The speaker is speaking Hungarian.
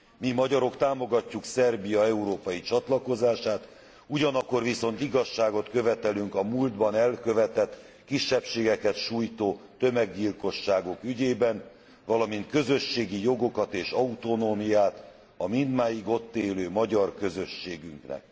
Mi, magyarok, támogatjuk Szerbia európai csatlakozását, ugyanakkor viszont igazságot követelünk a múltban elkövetett, kisebbségeket sújtó tömeggyilkosságok ügyében, valamint közösségi jogokat és autonómiát a mindmáig ott élő magyar közösségünknek.